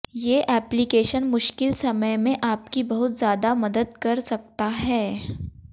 ये एप्लीकेशन मुश्किल समय में आपकी बहुत ज़्यादा मदद कर सकता है